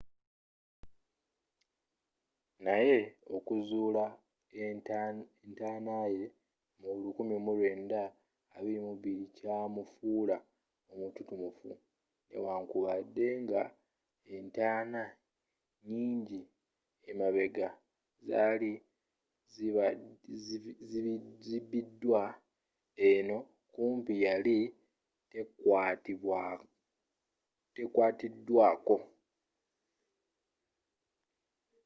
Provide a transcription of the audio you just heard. naye okuzuula entanaaye mu 1922 kyamufuula omututumufu newankubadde nga entaana nyinji emabega zaali zibbiddwa eno kumpi yali tekwaatiddwaako